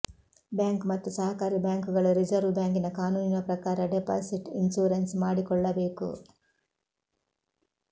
bank ಮತ್ತು ಸಹಕಾರಿ ಬ್ಯಾಂಕುಗಳು ರಿಸರ್ವ್ ಬ್ಯಾಂಕಿನ ಕಾನೂನಿನ ಪ್ರಕಾರ ಡೆಪಾಸಿಟ್ ಇನ್ಶೂರೆನ್ಸ್ ಮಾಡಿಕೊಳ್ಳಬೇಕು